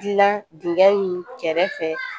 Dilan dingɛ in kɛrɛfɛ